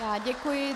Já děkuji.